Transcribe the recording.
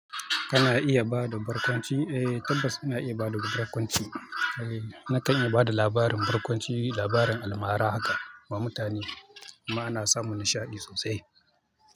Ana iya ba da barkwanci, eh tabbas ana iya ba da barkwanci. Eh nakan iya ba da labarin barkwanci, labarin almara haka ma mutane kuma ana samun nishaɗi sosai.